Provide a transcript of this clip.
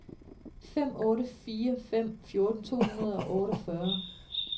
fem otte fire fem fjorten to hundrede og otteogfyrre